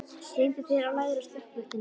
Stingdu þér af lægra stökkbrettinu næst.